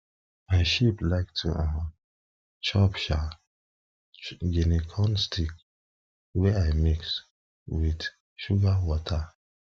my sheep like to um chop um guinea corn stick wey i mix keep wit suga wata